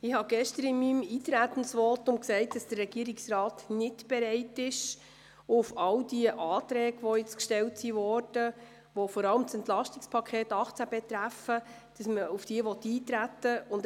Ich habe gestern in meinem Eintretensvotum gesagt, dass der Regierungsrat nicht bereit ist, auf all diese Anträge einzugehen, die gestellt wurden und die vor allem das EP 2018 betreffen.